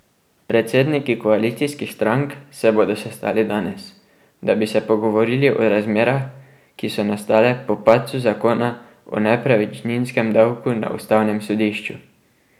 Predsedniki koalicijskih strank se bodo sestali danes, da bi se pogovorili o razmerah, ki so nastale po padcu zakona o nepremičninskem davku na ustavnem sodišču.